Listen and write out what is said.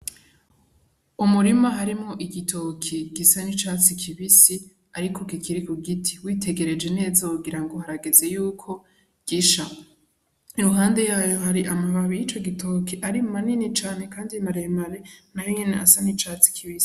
Umurima harimwo igitoki gisa n'icatsi kibisi ariko kikiri ku giti, witegereje neza wogira ngo harageze yuko gisha, iruhande yayo hari amababi y'ico gitoki ari manini cane kandi maremare nayo nyene asa n'icatsi kibisi.